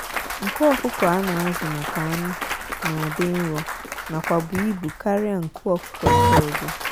nku ọkụkọ a na azụ maka anụ na dị nro nakwa bu ịbụ karia nku ọkụkọ ndị ọzọ.